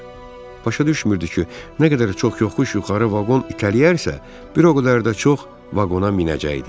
Başa düşmürdü ki, nə qədər çox yoxuş yuxarı vaqon itələyərsə, bir o qədər də çox vaqona minəcəkdi.